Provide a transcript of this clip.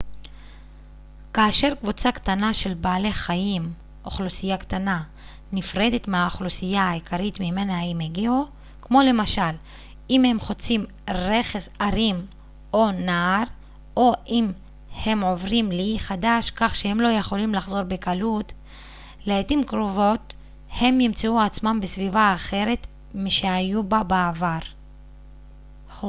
כאשר קבוצה קטנה של בעלי חיים אוכלוסייה קטנה נפרדת מהאוכלוסייה העיקרית ממנה הם הגיעו כמו למשל אם הם חוצים רכס הרים או נהר או אם הם עוברים לאי חדש כך שהם לא יכולים לחזור בקלות לעתים קרובות הם ימצאו עצמם בסביבה אחרת משהיו בה בעבר